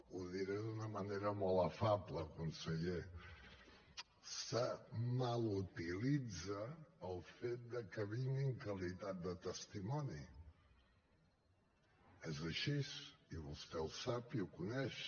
ho diré d’una manera molt afable conseller es mal utilitza el fet que vingui en qualitat de testimoni és així i vostè ho sap i ho coneix